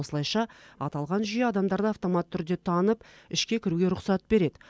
осылайша аталған жүйе адамдарды автоматты түрде танып ішке кіруге рұқсат береді